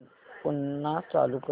पुन्हा चालू कर